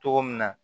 Cogo min na